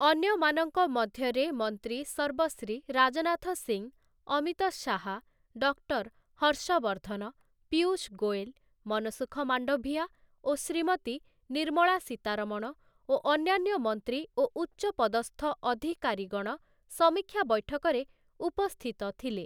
ଅନ୍ୟମାନଙ୍କ ମଧ୍ୟରେ ମନ୍ତ୍ରୀ ସର୍ବଶ୍ରୀ ରାଜନାଥ ସିଂ, ଅମିତ ଶାହା, ଡକ୍ଟର୍ ହର୍ଷବର୍ଦ୍ଧନ, ପୀୟୂଷ ଗୋଏଲ, ମନସୁଖ ମାଣ୍ଡଭିୟା ଓ ଶ୍ରୀମତୀ ନିର୍ମଳା ସୀତାରମଣ ଓ ଅନ୍ୟାନ୍ୟ ମନ୍ତ୍ରୀ ଓ ଉଚ୍ଚପଦସ୍ଥ ଅଧିକାରୀଗଣ ସମୀକ୍ଷା ବୈଠକରେ ଉପସ୍ଥିତ ଥିଲେ ।